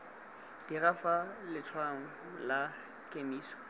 dira fa letshwaong la kemiso